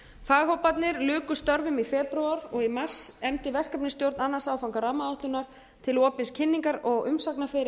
faghóparnir luku störfum í febrúar og í mars efndi verkefnisstjórn annan áfanga rammaáætlunar til opins kynningar og umsagnarferils sem stóð til þriðja